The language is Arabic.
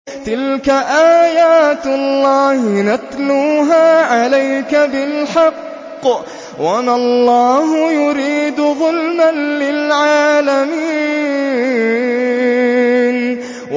تِلْكَ آيَاتُ اللَّهِ نَتْلُوهَا عَلَيْكَ بِالْحَقِّ ۗ وَمَا اللَّهُ يُرِيدُ ظُلْمًا لِّلْعَالَمِينَ